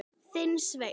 Þinn, Sveinn.